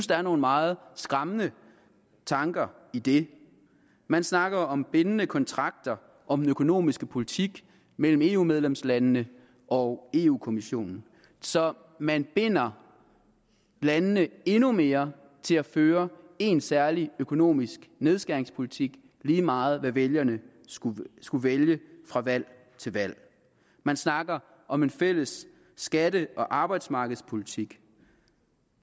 der er nogle meget skræmmende tanker i det man snakker om bindende kontrakter om den økonomiske politik mellem eu medlemslandene og eu kommissionen så man binder landene endnu mere til at føre en særlig økonomisk nedskæringspolitik lige meget hvad vælgerne skulle skulle vælge fra valg til valg man snakker om en fælles skatte og arbejdsmarkedspolitik